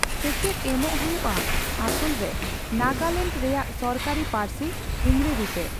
ᱥᱮᱪᱮᱫ ᱮᱢᱚᱜ ᱦᱳᱭᱳᱜᱼᱟ ᱟᱥᱚᱞᱨᱮ ᱱᱟᱜᱟᱞᱮᱱᱰ ᱨᱮᱭᱟᱜ ᱥᱚᱨᱠᱟᱨᱤ ᱯᱟᱹᱨᱥᱤ ᱤᱝᱨᱮᱡᱤᱛᱮ ᱾